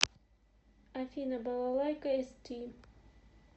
афина балалайка эсти